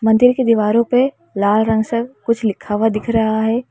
मंदिर की दीवारों पर लाल रंग से कुछ लिखा हुआ दिख रहा है।